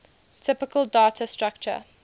typical data structure